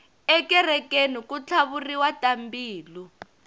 ekerekeni ku tlhavuriwa tambilu